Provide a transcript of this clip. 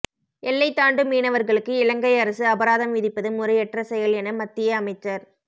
எல்லை தாண்டும் மீனவர்களுக்கு இலங்கை அரசு அபராதம் விதிப்பது முறையற்ற செயல் என மத்திய அமைச்சர்